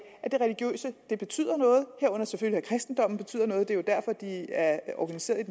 at det religiøse betyder noget herunder selvfølgelig at kristendommen betyder noget det er jo derfor de er organiserede